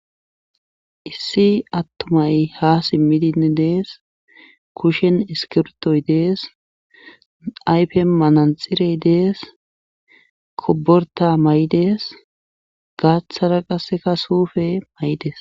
Issi attumay ha simmidinn dees kushen iskirtoy dees ayfe mananxirey dees koborta may7dees gaaththara qasseka suufe may7des.